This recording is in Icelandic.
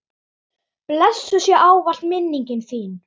Blessuð sé ávallt minning þín.